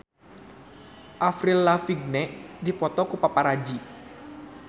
Avril Lavigne dipoto ku paparazi